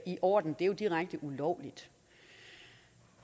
i orden det er direkte ulovligt